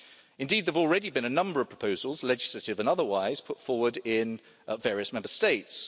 Indeed there have already been a number of proposals, legislative and otherwise, put forward in various Member States.